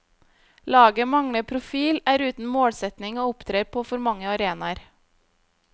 Laget mangler profil, er uten målsetning og opptrer på for mange arenaer.